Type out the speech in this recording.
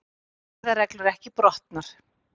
Siðareglur ekki brotnar